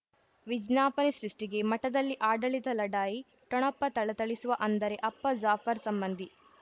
ವಿಜ್ಞಾಪನೆ ಸೃಷ್ಟಿಗೆ ಮಠದಲ್ಲಿ ಆಡಳಿತ ಲಢಾಯಿ ಠೊಣಪ ಥಳಥಳಿಸುವ ಅಂದರೆ ಅಪ್ಪ ಜಾಫರ್ ಸಂಬಂಧಿ